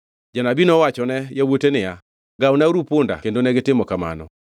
Janabi nowachone yawuote niya, “Gawnauru punda kendo negitimo kamano.”